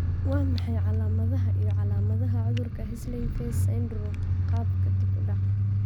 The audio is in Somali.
Waa maxay calamadaha iyo calamadaha cudurka Whistling face syndrome, qaabka dib u dhac?